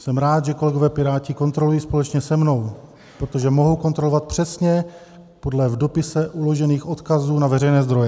Jsem rád, že kolegové Piráti kontrolují společně se mnou, protože mohou kontrolovat přesně podle v dopise uložených odkazů na veřejné zdroje.